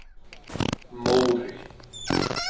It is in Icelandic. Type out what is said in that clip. Móri